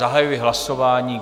Zahajuji hlasování.